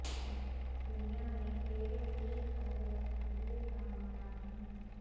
دنیا میں تیرے تیر کا یا تقدیر کا مارا ہوں